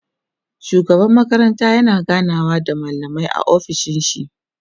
shugaban makaranta yana ganawa da mallamai a ofishin shi